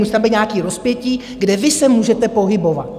Musí tam být nějaké rozpětí, kde vy se můžete pohybovat.